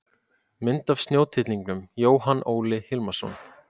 Mynd af snjótittlingum: Jóhann Óli Hilmarsson.